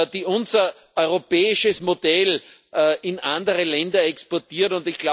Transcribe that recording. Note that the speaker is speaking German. die unser europäisches Modell in andere Länder exportieren.